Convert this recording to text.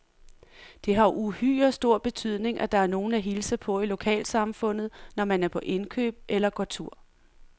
Det har uhyre stor betydning, at der er nogen at hilse på i lokalsamfundet, når man er på indkøb eller går tur.